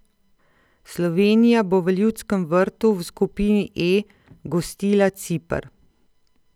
Slovenija bo v Ljudskem vrtu v skupini E gostila Ciper.